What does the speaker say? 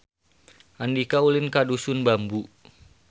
Andika ulin ka Dusun Bambu